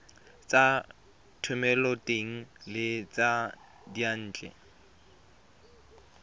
tsa thomeloteng le tsa diyantle